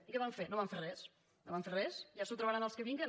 i què van fer no van fer res no van fer res ja s’ho trobaran els que vinguen